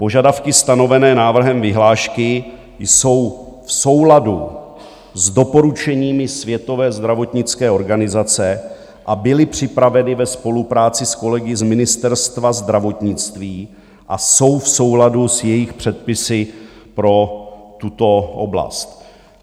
Požadavky stanovené návrhem vyhlášky jsou v souladu s doporučeními Světové zdravotnické organizace a byly připraveny ve spolupráci s kolegy z Ministerstva zdravotnictví a jsou v souladu s jejich předpisy pro tuto oblast.